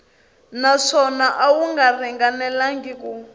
naswona a wu ringanelangi ku